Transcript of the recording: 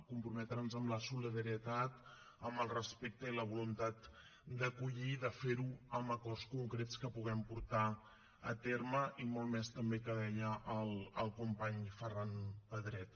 comprometre’ns amb la solidaritat amb el respecte i la voluntat d’acollir i de fer ho amb acords concrets que puguem portar a terme i molt més també que deia el company ferran pedret